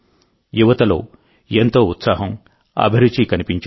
యువతలో ఎంతో ఉత్సాహం అభిరుచి కనిపించాయి